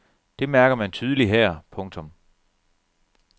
Det mærker man tydeligt her. punktum